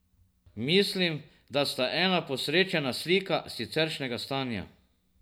Mislim, da sta ena posrečena slika siceršnjega stanja.